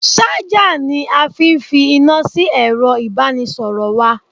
Ṣájà ni a fi fi iná sí ẹ̀ro ìbánisọ̀rọ̀ wa.